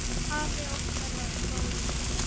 Afi Óttar var góður maður.